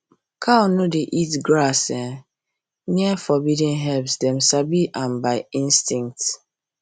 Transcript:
cow no dey eat grass um near forbidden herbs dem sabi am by instinct